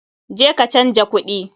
Je ka canja kuɗi!